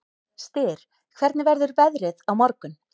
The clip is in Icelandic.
Styr, hvernig verður veðrið á morgun?